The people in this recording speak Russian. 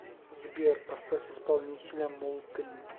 сбер поставь исполнителя муллтри